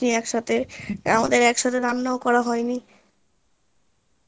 একসাথে আমাদের একসাথে রান্নাও করা হয়নি